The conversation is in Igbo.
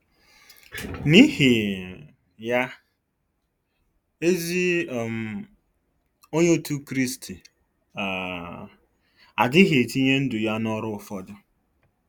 N'ihi um ya, ezi um Onye Otú Kristi um adịghị etinye ndụ ya n'ọrụ ụfọdụ.